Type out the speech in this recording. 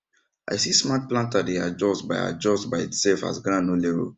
i see smart planter dey adjust by adjust by itself as ground no level